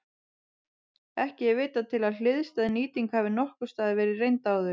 Ekki er vitað til að hliðstæð nýting hafi nokkurs staðar verið reynd áður.